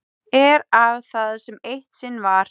Er af það sem eitt sinn var.